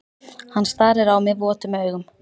Hann starir á mig votum augum.